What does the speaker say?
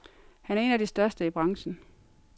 Han er en af de største i branchen.